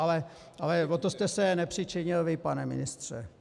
Ale o to jste se nepřičinil vy, pane ministře.